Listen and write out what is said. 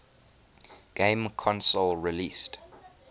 game console released